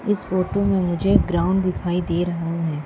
इस फोटो में मुझे ग्राउंड दिखाई दे रहा है।